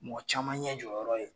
Mɔgɔ caman ɲɛ jɔyɔrɔ ye.